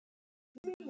Það ratar heim.